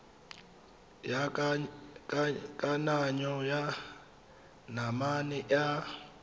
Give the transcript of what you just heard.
ya kananyo ya manane a